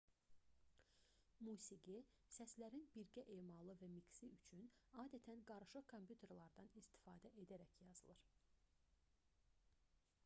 musiqi səslərin birgə emalı və miksi üçün adətən qarışıq kompüterlərdən istifadə edərək yazılır